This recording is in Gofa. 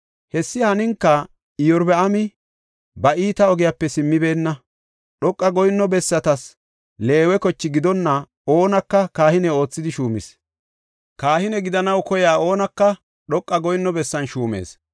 Hessi haninka Iyorbaami ba iita ogiyape simmibeenna. Dhoqa goyinno bessatas Leewe koche gidonna oonaka kahine oothidi shuumis. Kahine gidanaw koyiya oonaka dhoqa goyinno bessan shuumees.